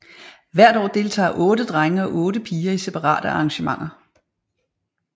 Hvert år deltager otte drenge og otte piger i separate arrangementer